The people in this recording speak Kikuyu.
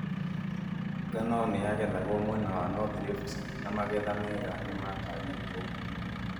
Ngano nĩyagethagwo mwena wa North Rift na magetha mega nĩmatanyĩtwo